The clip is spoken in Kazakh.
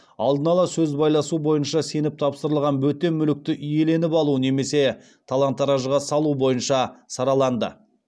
алдын ала сөз байласу бойынша сеніп тапсырылған бөтен мүлікті иеленіп алу немесе талан таражыға салу бойынша сараланды